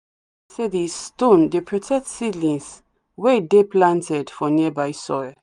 them believe say the stone dey protect seedings wey dey planted for nearby soil.